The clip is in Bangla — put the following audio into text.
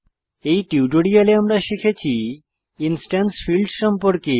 এই টিউটোরিয়ালে আমরা শিখেছি ইনস্ট্যান্স ফীল্ড সম্পর্কে